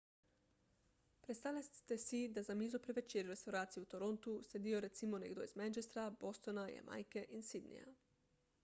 predstavljajte si da za mizo pri večerji v restavraciji v torontu sedijo recimo nekdo iz manchestra bostona jamajke in sydneyja